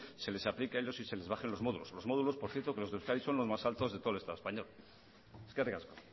se les aplique a ellos y se les bajen los módulos los módulos por cierto que los de euskadi son los más altos de todo el estado español eskerrik asko